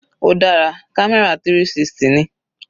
Ó dára, camera 360 ni.